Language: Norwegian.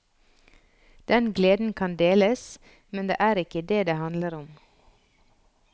Den gleden kan deles, men det er ikke det det handler om.